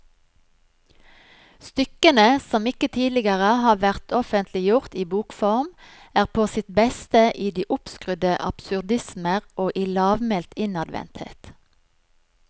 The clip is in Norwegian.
Stykkene, som ikke tidligere har vært offentliggjort i bokform, er på sitt beste i de oppskrudde absurdismer og i lavmælt innadvendthet.